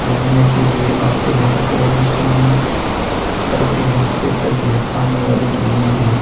घूमने के लिए आते हैं और स्विमिंग करते हैं। स्पेशल यह पानी वाले झूले हैं।